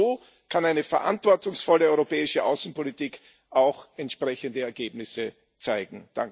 Nur so kann eine verantwortungsvolle europäische Außenpolitik auch entsprechende Ergebnisse zeitigen.